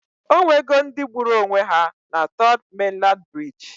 Onwe go ndi gburu onwe ha na Third Mainland Bridge